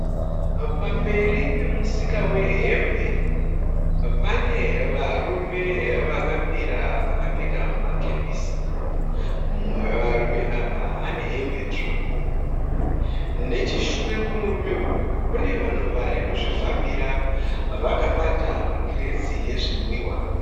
Pamberi pemusika wehembe, pane varume vakamira vakapfeka makepisi. Mumwe wevarume ava ane hembe tsvuku. Necheshure kwemurume uyu kune vanhu varikuzvifambira vakabata ma(crates) ezvinwiwa.